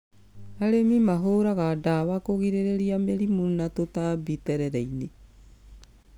Arĩmi mahũraga ndawa kũgirĩrĩria mĩrimũ na tũtambi terere-inĩ